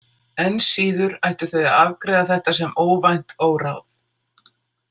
Enn síður ættu þau að afgreiða þetta sem óvænt óráð.